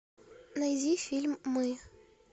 найди фильм мы